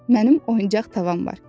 Mənim oyuncaq tavam var.